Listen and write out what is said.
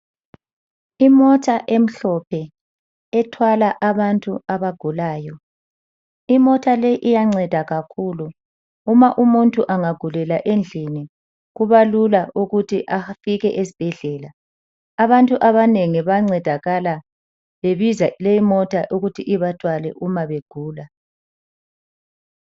Imota emhlophe ethwala abantu abagulayo imota le iyanceda kakhulu uma umuntu angagulela endlini kubalula ukuthi afike esibhedlela abantu abanengi bancedakala bebiza lemota ukuthi ibathwale uma begula.